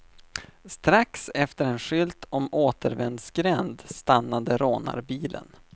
Strax efter en skylt om återvändsgränd stannade rånarbilen.